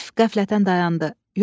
Əlif qəflətən dayandı.